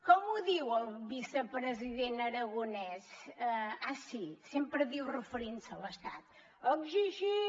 com ho diu el vicepresident aragonès ah sí sempre diu referint se a l’estat exigim